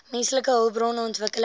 menslike hulpbron ontwikkeling